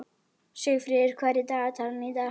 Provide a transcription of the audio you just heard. Lömbin voru hólfuð af innst í annarri krónni.